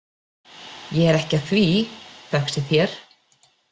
Ég er ekki að því, þökk sé þér.